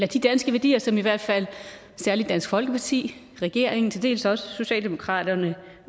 de danske værdier som særlig dansk folkeparti regeringen og til dels også socialdemokraterne